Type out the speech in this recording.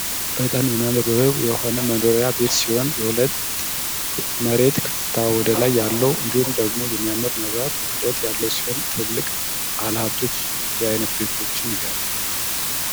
በጣም የሚያምር ውብ የሆነ መኖሪያ ቤት ሲሆን ሁለት የመሬት ከፍታ ወደ ላይ ያለው እንዲሁም ደግሞ የሚያምር የመብራት ውህደት ያለው ሲሆን ትልልቅ ባለሀብቶች እንዲህ አይነት ቤቶችን ይገነባሉ!